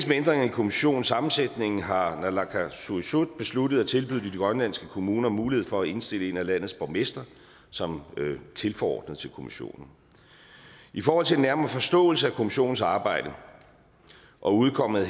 kommissionens sammensætning har naalakkersuisut besluttet at tilbyde de grønlandske kommuner mulighed for at indstille en af landets borgmestre som tilforordnet til kommissionen i forhold til den nærmere forståelse af kommissionens arbejde og udkommet